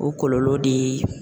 O kɔlɔlɔ de ye